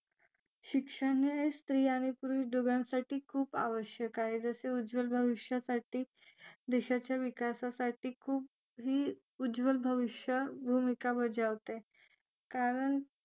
शिक्षण हे स्त्री आणि पुरुष दोघांसाठी आवश्यक आहे जसे उज्वल भविष्यासाठी देशाच्या विकासासाठी खूप हे उज्वल भविष्य भूमिका बजावते कारण